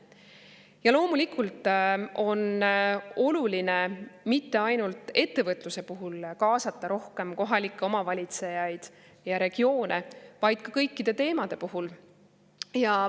Ja loomulikult on oluline rohkem kaasata kohalikke omavalitsusi ja regioone mitte ainult ettevõtluse puhul, vaid kõikide teemade puhul.